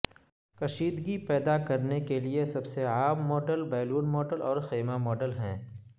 کشیدگی پیدا کرنے کے لئے سب سے عام ماڈل بیلون ماڈل اور خیمہ ماڈل ہیں